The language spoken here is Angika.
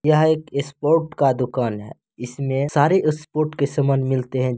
यहाँ एक स्पोर्ट का दुकान है | इसमे सारे स्पोर्ट के समान मिलते हैं ।